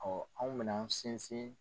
Ɔ anw bɛna an sinsin.